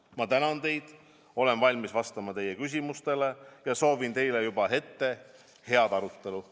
Ma tänan teid, olen valmis vastama teie küsimustele ja soovin teile juba ette head arutelu.